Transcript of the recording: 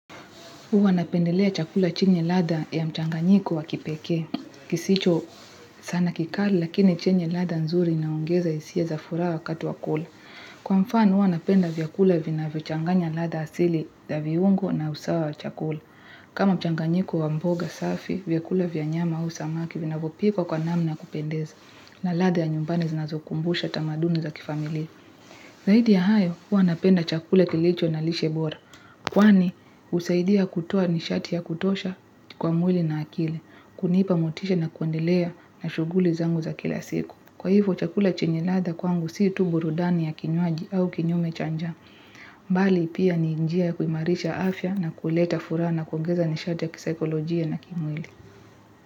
Huwa napendelea chakula chenye ladha ya mchanganyiko wa kipekee. Kisicho sana kikali lakini chenye ladha nzuri inaongeza hisia za furaha wakati wa kula. Kwa mfano huwa napenda vyakula vinavyochanganya ladha asili za viungo na usawa wa chakula. Kama mchanganyiko wa mboga safi, vyakula vya nyama au samaki vinavyopikwa kwa namna ya kupendeza. Na ladha ya nyumbani zinazokumbusha tamaduni za kifamilia Zaidi ya hayo, huwa napenda chakula kilicho na lishe bora. Kwani husaidia kutoa nishati ya kutosha kwa mwili na akili, kunipa motisha na kuendelea na shughuli zangu za kila siku. Kwa hivyo chakula chenye ladha kwangu si tu burudani ya kinywaji au kinyume cha njaa. Bali pia ni njia ya kuimarisha afya na kuleta furaha na kuongeza nishati ya kisaikolojia na kimwili.